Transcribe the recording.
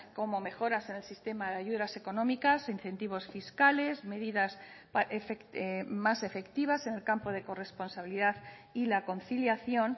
como mejoras en el sistema de ayudas económicas incentivos fiscales medidas más efectivas en el campo de corresponsabilidad y la conciliación